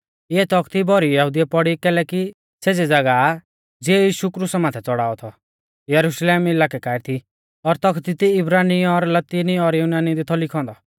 इऐ तौखती भौरी यहुदिउऐ पौड़ी कैलैकि सेज़ी ज़ागाह ज़िऐ यीशु क्रुसा माथै च़ौड़ाऔ थौ यरुशलेम इलाकै काऐ थी और तौखती दी इब्रानी और लतिनी और युनानी दी थौ लिखौ औन्दौ